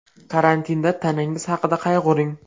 Karantinda tanangiz haqida qayg‘uring.